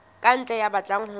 ka ntle ya batlang ho